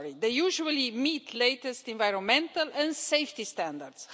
They usually meet the latest environmental and safety standards.